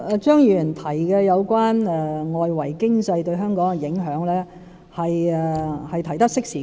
張議員提及有關外圍經濟對香港的影響，是提出得適時的。